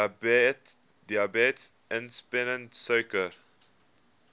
diabetes insipidus suiker